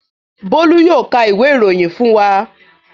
Bólú yóò ka ìwé-ìròyìn fún wa.